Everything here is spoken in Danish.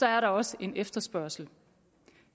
er der også en efterspørgsel